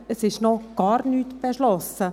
Es ist noch gar nichts beschlossen.